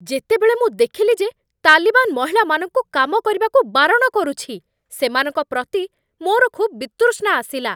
ଯେତେବେଳେ ମୁଁ ଦେଖିଲି ଯେ ତାଲିବାନ୍ ମହିଳାମାନଙ୍କୁ କାମ କରିବାକୁ ବାରଣ କରୁଛି, ସେମାନଙ୍କ ପ୍ରତି ମୋର ଖୁବ୍ ବିତୃଷ୍ଣା ଆସିଲା।